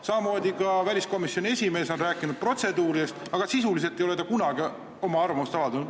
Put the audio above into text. Samamoodi on ka väliskomisjoni esimees rääkinud protseduuridest, aga sisuliselt ei ole ta kunagi oma arvamust avaldanud.